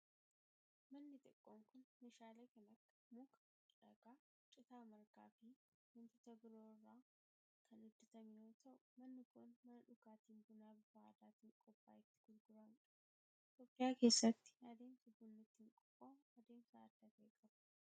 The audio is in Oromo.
Manni xiqqoon kun, meeshaalee kan akka; muka, dhagaa, citaa margaa fi wantoota biroo irraa kan hojjatame yoo ta'u, manni kun mana dhugaatiin bunaa bifa aadaatin qophaa'e itti gurguramuu dha. Itoophiyaa keessatti adeemsi bunni ittiin qophaa'u adeemsa adda ta'e qaba.